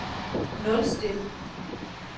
nulstil